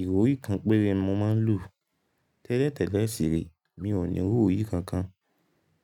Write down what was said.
Ìrọ̀rí kan péré ni mo máa ń lò. Tẹ́lẹ̀tẹ́lẹ̀ sìré, mi ò ní ìrọ̀rí kankan.